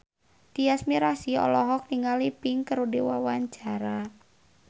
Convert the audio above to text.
Tyas Mirasih olohok ningali Pink keur diwawancara